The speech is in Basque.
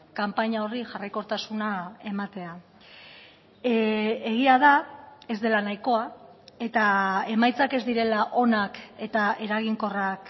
kanpaina horri jarraikortasuna ematea egia da ez dela nahikoa eta emaitzak ez direla onak eta eraginkorrak